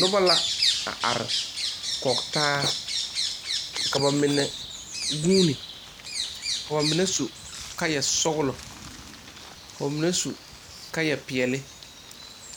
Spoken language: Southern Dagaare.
Noba la a are kɔge taa ka ba mine guuni ka ba mine su kaayasɔgla ka ba mine su kaayapeɛle